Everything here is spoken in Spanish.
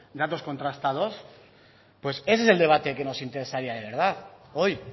datos contrastados pues ese es el debate que nos interesaría de verdad hoy